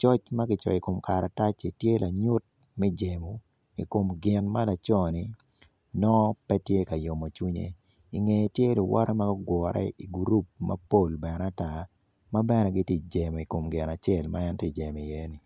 coc ma kicoyo i kom karataci tye lanyut me jemo i kom gin ma laconi nongo pe tye ka yomo cwinye inge tye luwote ma ogure i gurup mapol bene ata ma bene ti ijemo i kom gin acel ma en bene ti jemo iyeni.